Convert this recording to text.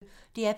DR P1